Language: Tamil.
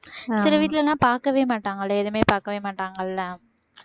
ஆஹ் சில வீட்டுல எல்லாம் பாக்கவே மாட்டாங்கல்ல எதுவுமே பாக்கவே மாட்டாங்கல்ல